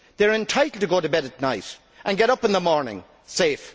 they are entitled to go to bed at night and get up in the morning, safe.